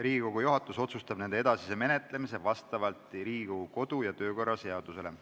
Riigikogu juhatus otsustab nende edasise menetlemise vastavalt Riigikogu kodu- ja töökorra seadusele.